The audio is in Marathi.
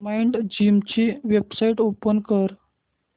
माइंडजिम ची वेबसाइट ओपन कर